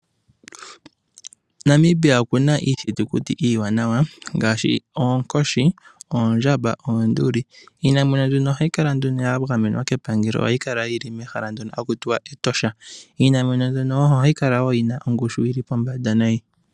Namibia oku na iithitukuti iiwanawa ngaashi oonkoshi, oondjamba noonduli. Iinamwenyo mbino ohayi kala ya gamenwa kepangelo ohayi kala yi li mehala mono haku tiwa Etosha. Iinamwenyo mbyono ohayi kala wo yi na ongushu yi li pombanda nayi.